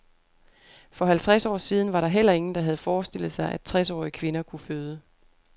For halvtreds år siden var der heller ingen, der havde forestillet sig, at tresårige kvinder kunne føde.